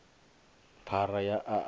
phara ya a a i